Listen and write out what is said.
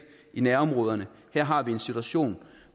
i nærområderne her har vi en situation